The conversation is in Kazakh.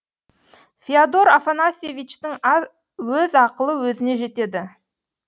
феодор афанасьевичтің өз ақылы өзіне жетеді